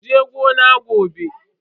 Kuje gona gobe.